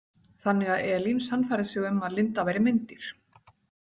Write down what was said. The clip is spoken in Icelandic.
Þannig að Elín sannfærði sig um að Linda væri meindýr.